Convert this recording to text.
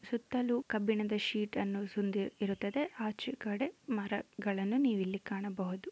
ಸುತ್ತಲೂ ಕಬ್ಬಿಣದ ಶೀಟ್ ಅನ್ನು ಇರುತ್ತದೆ. ಆಚೆಗಡೆ ಮರಗಳನ್ನು ನೀವು ಇಲ್ಲಿ ಕಾಣಬಹುದು.